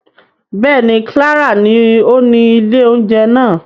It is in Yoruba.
Bẹ́ẹ̀ni, Clara ni oni ìlé ounjẹ naa.